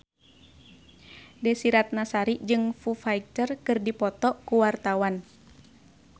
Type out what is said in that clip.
Desy Ratnasari jeung Foo Fighter keur dipoto ku wartawan